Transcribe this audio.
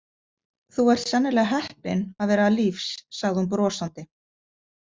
Þú ert sennilega heppinn að vera lífs, sagði hún brosandi.